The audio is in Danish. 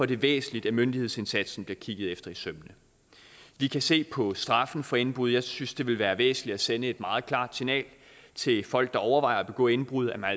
det væsentligt at myndighedsindsatsen bliver kigget efter i sømmene vi kan se på straffen for indbrud jeg synes det vil være væsentligt at sende et meget klart signal til folk der overvejer at begå indbrud om at